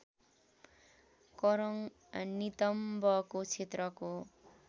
करङ नितम्बको क्षेत्रको